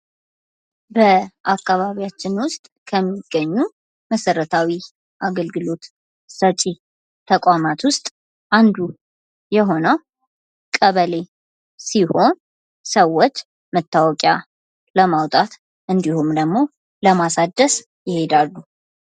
በአካባቢያችን ውስጥ ከሚገኙ መሰረታዊ አገልግሎት ሰጭ ተቋማት ውስጥ አንዱ የሆነው ቀበሌ ሲሆን ሰወች መታወቂያ ለማውጣት እንድሁም ደግሞ ለማሳደስ ይሄዳሉ።